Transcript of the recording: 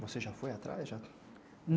Você já foi atrás já?